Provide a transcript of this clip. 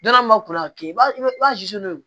Don dɔ la mun b'a kɔnɔ k'a kɛ i b'a i b'a